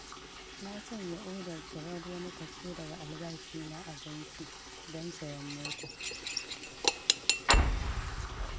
Na sanya odar cirar wani kaso daga albashina a banki, don sayen mota.